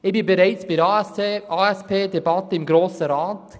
Ich sass bereits bei der ASP-Debatte im Grossen Rat.